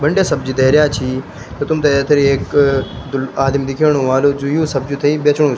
बंड्या सब्जी धर्यां छी तुमथे फिर एक आदिम दिखेणु वाह्लु जु यूँ सब्जियूँ थै बिचणु --